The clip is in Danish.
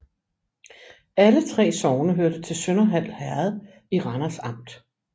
Alle 3 sogne hørte til Sønderhald Herred i Randers Amt